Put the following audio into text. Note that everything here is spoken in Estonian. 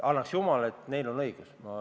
Annaks jumal, et neil on õigus!